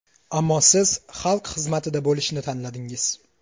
Ammo siz xalq xizmatida bo‘lishni tanladingiz.